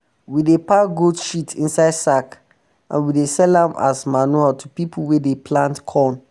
we dey pack um goat shit inside sack and we dey sell am as um manure to pipu wey dey plant corn